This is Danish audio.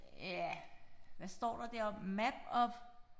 Ja hvad står der deroppe map of